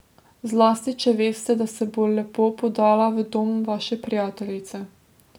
Zlasti če veste, da se bo lepo podala v dom vaše prijateljice.